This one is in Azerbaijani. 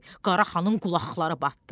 Qaraxanın qulaqları batdı.